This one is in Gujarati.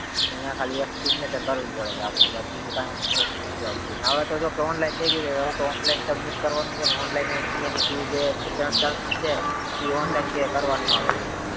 એટલે નયા ખાલી એક signature કરવી પડે જ્યાં આપડે બીજું કઈ એમ process નથી આવતી અને આવે તો છે ને online થય ગયું છે હવે તો online submit કરવાનું છે ને online ઈ એનેઈ fee હે ઈ online pay કરવાનું આવે છે